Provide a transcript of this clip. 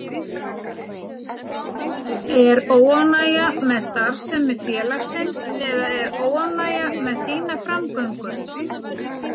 Er óánægja með starfsemi félagsins eða er óánægja með þína framgöngu?